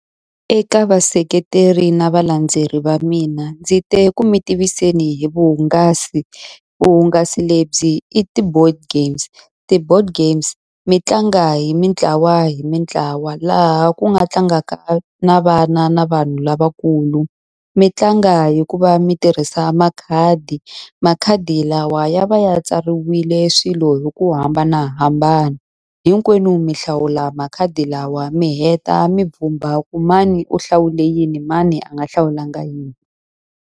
Eka vaseketeri na valandzeleri va mina, ndzi te ku mi tiviseni hi vuhungasi. Vuhungasi lebyi i ti-board games. Ti-board games mi tlanga hi mitlawa hi mitlawa laha ku nga tlangaka na vana na vanhu lavakulu. Mi tlanga hi ku va mi tirhisa makhadi. Makhadi lawa ya va ya tsariwile swilo hi ku hambanahambana. Hinkwenu mi hlawula makhadi lawa mi heta mi vhumba ku mani u hlawule yini mani a nga hlawulanga yini.